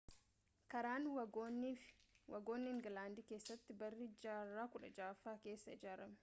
karaan waagonii ingilaandii keessatti barii jaarraa 16ffaa keessa ijaarame